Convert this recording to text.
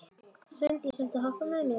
Sveindís, viltu hoppa með mér?